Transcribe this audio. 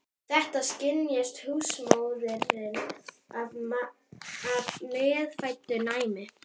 Þetta skynjaði húsmóðirin af meðfæddu næmi.